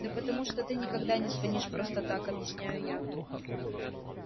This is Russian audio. да потому что ты никогда не звонишь просто так объясняю я